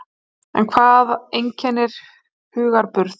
En hvað einkennir hugarburð?